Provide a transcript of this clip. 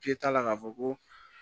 K'i t'a la k'a fɔ ko